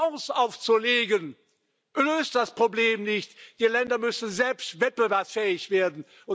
Und Fonds aufzulegen, löst das Problem nicht Die Länder müssen selbst wettbewerbsfähig werden.